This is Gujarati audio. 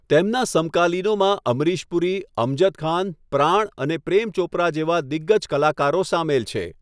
તેમના સમકાલીનોમાં અમરીશ પુરી, અમજદ ખાન, પ્રાણ અને પ્રેમ ચોપરા જેવા દિગ્ગજ કલાકારો સામેલ છે.